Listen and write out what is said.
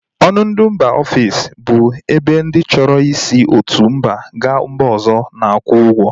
Ọnụ ndị mba ofesi bụ ebe ndị chọrọ i si otu mba ga mba ọzọ na-akwụ ụgwọ